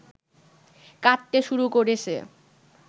কাটতে শুরু করেছে